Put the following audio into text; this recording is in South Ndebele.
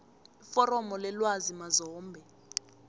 iforomo lelwazi mazombe